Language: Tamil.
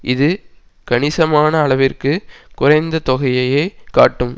இது கணிசமான அளவிற்கு குறைந்த தொகையையே காட்டும்